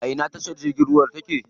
A ina tashar jirgin ruwan take?